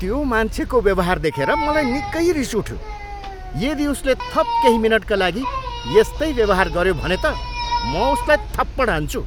त्यो मान्छेको व्यवहार देखेर मलाई निकै रिस उठ्यो। यदि उसले थप केही मिनटका लागि यस्तै व्यवहार गऱ्यो भने त म उसलाई थप्पड हान्छु।